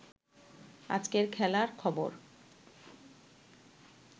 আজকের খেলার খবর